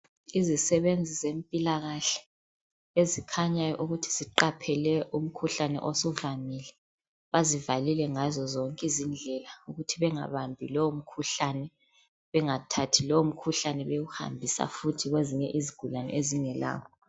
Izisebenzi zempilakahle ezikhanya ukuthi ziqaphele umkhuhlane osudlangile bazivaalilee ngazo zonke izindlela ukuthi bangahambi lowo mkhuhlane bangathathi lowomhkuhlane bewuhambisa futhi kwezinye izindawo ezingelawo.